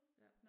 Ja